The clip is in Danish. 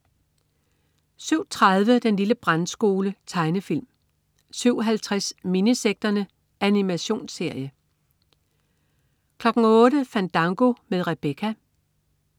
07.30 Den lille brandskole. Tegnefilm 07.50 Minisekterne. Animationsserie 08.00 Fandango med Rebecca